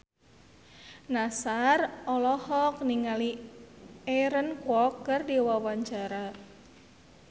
Nassar olohok ningali Aaron Kwok keur diwawancara